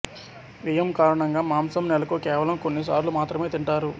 వ్యయం కారణంగా మాంసం నెలకు కేవలం కొన్ని సార్లు మాత్రమే తింటారు